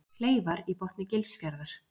Kleifar í botni Gilsfjarðar.